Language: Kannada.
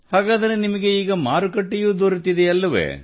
ಹಾಗಾದರೆ ನಿಮಗೆ ಈಗ ಮಾರುಕಟ್ಟೆಯೂ ದೊರೆತಿದೆ ಅಲ್ಲವೇ